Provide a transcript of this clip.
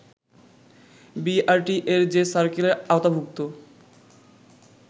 বিআরটিএ’র যে সার্কেলের আওতাভূক্ত